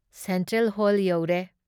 Central hall ꯌꯧꯔꯦ ꯫